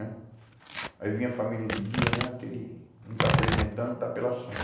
Né? Aí vinha a família de dia né, aquele, não está se alimentando, está pela